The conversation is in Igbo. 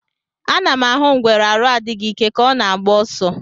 A nam ahụ ngwere arụ adịghị ike ka ọ na agba ọsọ.